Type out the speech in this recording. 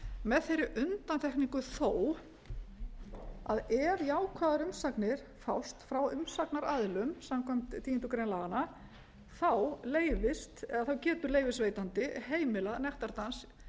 með þeirri undantekningu þó að ef jákvæðar umsagnir fást frá umsagnaraðilum samkvæmt tíundu grein laganna þá leyfist eða þá getur leyfisveitandi heimilað nektardans